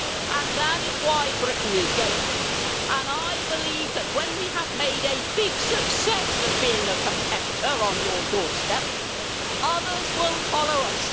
And that is why Britain is going, and I believe that when we have made a big success of being a competitor on your doorstep, others will follow us.